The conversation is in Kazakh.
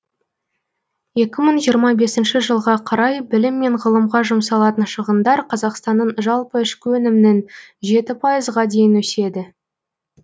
екі мың жиырма бесінші жылға қарай білім мен ғылымға жұмсалатын шығындар қазақстанның жалпы ішкі өнімнің жеті пайызға дейін өседі